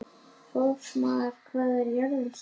Fossmar, hvað er jörðin stór?